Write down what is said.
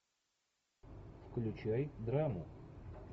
включай драму